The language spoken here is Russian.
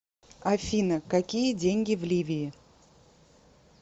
афина какие деньги в ливии